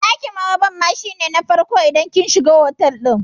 Eh, ɗakin maraban ma shi ne na farko idan kin shiga otal ɗin